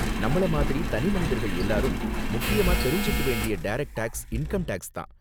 நம்மள மாதிரி தனிமனிதர்கள் எல்லாரும், முக்கியமா தெரிஞ்சுக்க வேண்டிய டரக்ட் டேக்ஸ் இன்கம் டேக்ஸ் தான்.